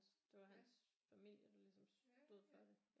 Det var hans familie der ligesom stod for det